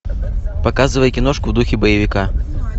показывай киношку в духе боевика